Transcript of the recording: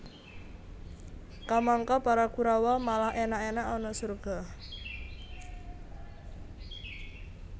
Kamangka para Kurawa malah enak enak ana surga